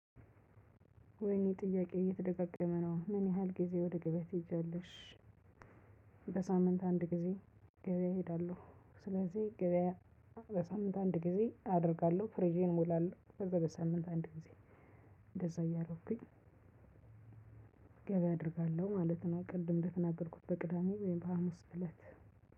ወይኔ ጥያቄ እየተደጋገመ ነው ምን ያህል ጊዜ ወደ ገብያ ትሄጃለሽ? በሳምንት አንድ ግዜ እሄዳለው። ስለዝህ ገብያ በሳምንት አንድ ግዜ አደርጋለው ፍሪጄን እሞላለው። በዘው በሳምንት አንድ ግዜ እንደዛ እያደርኩኝ። ገብያ አደርጋለው ማለት ነው። ቅድም እንደተናገርኩኝ በቅዳሜ ወይም ሀሙስ።